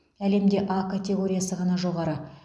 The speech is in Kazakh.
әлемде а категориясы ғана жоғары